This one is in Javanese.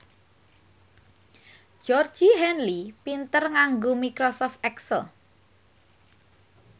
Georgie Henley pinter nganggo microsoft excel